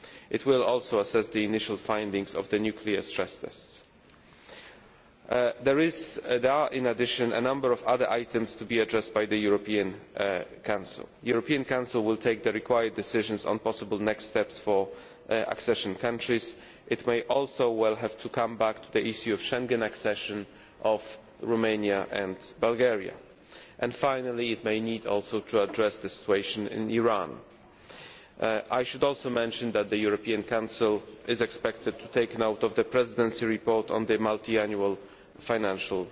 It will also assess the initial findings of the nuclear stress tests. There are, in addition, a number of other items to be addressed by the European Council. The European Council will take the required decisions on the possible next steps for accession countries. It may well also have to come back to the issue of Schengen accession by Romania and Bulgaria. Finally, it may also need to address the situation in Iran. I should also mention that the European Council is expected to take note of the Presidency report on the multiannual